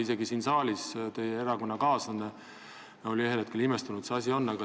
Isegi siin saalis oli teie erakonnakaaslane ühel hetkel imestunud, et see asi nii on.